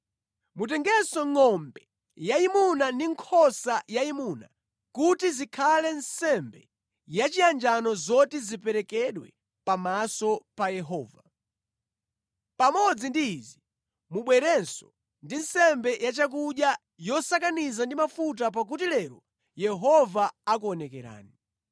Mutengenso ngʼombe yayimuna ndi nkhosa yayimuna kuti zikhale nsembe yachiyanjano zoti ziperekedwe pamaso pa Yehova. Pamodzi ndi izi mubwerenso ndi nsembe yachakudya yosakaniza ndi mafuta pakuti lero Yehova akuonekerani.’ ”